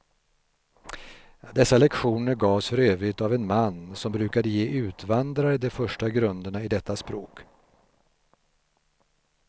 Dessa lektioner gavs för övrigt av en man, som brukade ge utvandrare de första grunderna i detta språk.